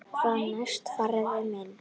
Hvað næst, faðir minn?